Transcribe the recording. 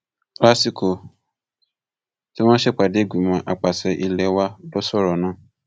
lásìkò tí wọn ń ṣèpàdé ìgbìmọ àpasẹ ilé wa ló sọrọ náà